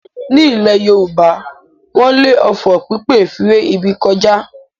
Nílẹ̀ Yorùbá wọ́n le òfò pípè fi ré ibi kọjá.